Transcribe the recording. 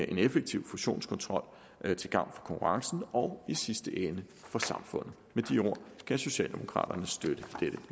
en effektiv fusionskontrol til gavn for konkurrencen og i sidste ende for samfundet med de ord kan socialdemokraterne støtte dette